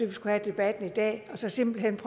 vi skulle have debatten i dag simpelt hen